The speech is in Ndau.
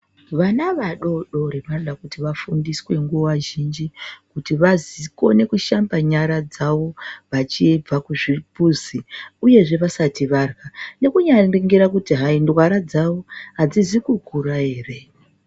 Vana vadodori vanoda kuti vafundiswe nguwa zhinji, kuti vazii vakone kushanba nyara dzavo vachibva kuzvimbuzi, uyezve vasati varya, nekunyaningira kuti hayi, ndwara dzavo adzizi kukura ere.